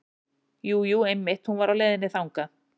Jú, jú einmitt hún var á leiðinni þangað.